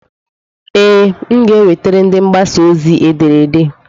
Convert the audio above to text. Ee, m ga-ewetara ndị mgbasa ozi ederede.